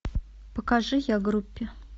покажи я группе